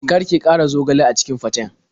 Kar ki ƙara zogale a cikin faten.